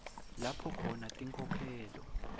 lapho khona tinkhokhelo